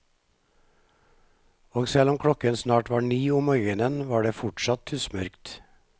Og selv om klokken snart var ni om morgenen, var det fortsatt tussmørkt.